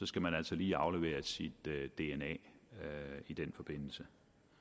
skal man altså lige aflevere sit dna i den forbindelse